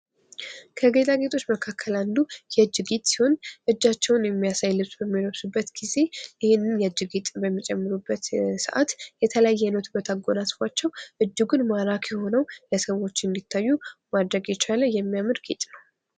ከጌጣጌጦች መካከል አንዱ የእጅ ጌጥ ሲሆን እጃቸዉን የሚያሳይ ልብስ በሚለብሱበት ጊዜ ይህንን የእጅ ጌጥ በሚጨምሩበት ሰዓት የተለያየ አይነት ዉበት አጎናፅፏቸዉ እጅጉን ማራኪ ሆነዉ ለሰዎች እንዲታዩ ማድረግ የቻለ ጌጥ የሚያምር ነዉ።